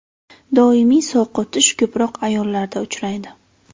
Doimiy sovqotish ko‘proq ayollarda uchraydi.